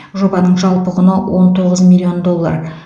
жобаның жалпы құны он тоғыз миллион доллар